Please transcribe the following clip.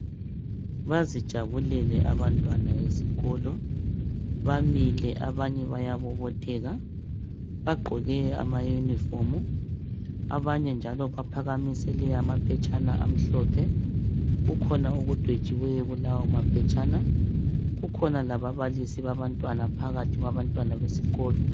Bazijabukele abantwana esikolo. Bamile, abanye bayabobotheka. Bagqoke amayunifomu. Abanye njalo baphakamise amaphetshana amhlophe. Kukhona okudwetshiweyo kuulawomaphetshana. Kukhona lababalisi babantwana, phakathi kwabantwana besikolo.